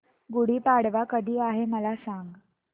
गुढी पाडवा कधी आहे मला सांग